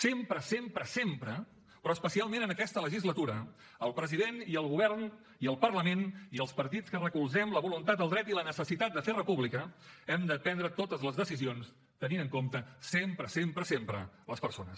sempre sempre sempre però especialment en aquesta legislatura el president i el govern i el parlament i els partits que recolzem la voluntat el dret i la necessitat de fer república hem de prendre totes les decisions tenint en compte sempre sempre sempre les persones